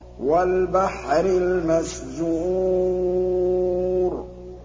وَالْبَحْرِ الْمَسْجُورِ